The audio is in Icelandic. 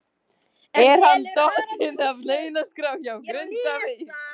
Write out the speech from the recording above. Er hann dottinn af launaskrá hjá Grindavík?